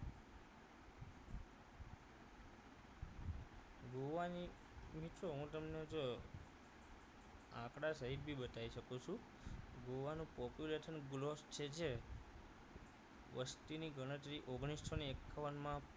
ગોવાની મિત્રો હું તમને જો આંકડા સહિત ભી બતાઇ શકું છું ગોવા નું population growth છે જે વસ્તીની ગણતરી એ ઓગણીસો ને એકાવનમાં